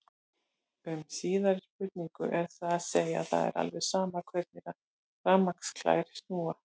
Um síðari spurninguna er það að segja að það er alveg sama hvernig rafmagnsklær snúa.